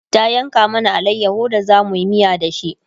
ta yanka mana alayaho da zamuyi miya da shi